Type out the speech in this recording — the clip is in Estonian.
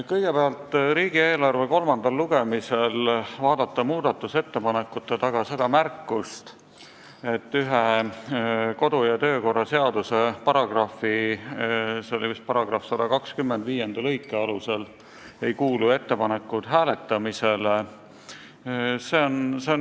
Kõigepealt on üsna imelik näha riigieelarve kolmandal lugemisel mõne muudatusettepaneku taga märkust, et kodu- ja töökorraseaduse mingi paragrahvi – see oli vist § 125 – lõike 5 alusel ei kuulu ettepanek hääletamisele.